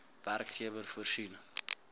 werkgewer voorsien